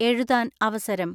എഴുതാൻ അവസരം.